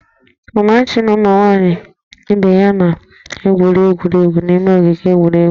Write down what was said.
Amarachi na ụmụ nwaanyị ibe ya na-gwuriri egwuregwu n'ime ogige egwuregwu